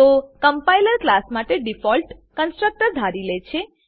તો compiler class માટે default constructor ધારી લે છે